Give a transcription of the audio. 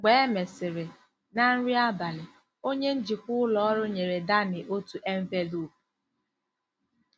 Mgbe e mesịrị, na nri abalị, onye njikwa ụlọ ọrụ nyere Danny otu envelopu.